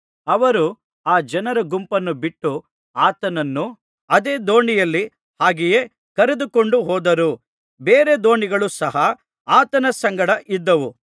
ಅವರು ಆ ಜನರ ಗುಂಪನ್ನು ಬಿಟ್ಟು ಆತನನ್ನು ಅದೇ ದೋಣಿಯಲ್ಲಿ ಹಾಗೆಯೇ ಕರೆದುಕೊಂಡು ಹೋದರು ಬೇರೆ ದೋಣಿಗಳೂ ಸಹ ಆತನ ಸಂಗಡ ಇದ್ದವು